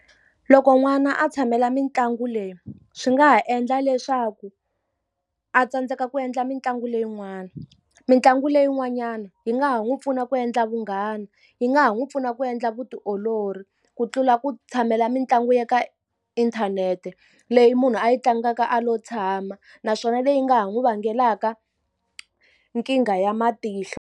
Loko n'wana a tshamela mitlangu leyi swi nga ha endla leswaku a tsandzeka ku endla mitlangu leyin'wani. Mitlangu leyi n'wanyana yi nga ha n'wi pfuna ku endla vunghana, yi nga ha n'wi pfuna ku endla vutiolori. Ku tlula ku tshamela mitlangu ya ka inthanete leyi munhu a yi tlangaka a lo tshama, naswona leyi nga ha n'wi vangelaka nkingha ya matihlo.